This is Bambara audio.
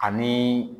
Ani